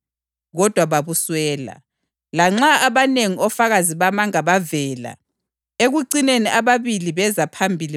Kodwa babuswela, lanxa abanengi ofakazi bamanga bavela. Ekucineni ababili beza phambili